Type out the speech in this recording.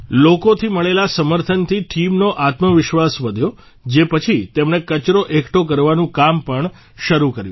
લોકોથી મળેલા સમર્થનથી ટીમનો આત્મવિશ્વાસ વધ્યો જે પછી તેમણે કચરો એકઠો કરવાનું કામ પણ શરૂ કર્યું